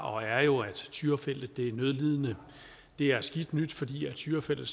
og er jo at tyrafeltet er nødlidende det er skidt nyt fordi tyrafeltet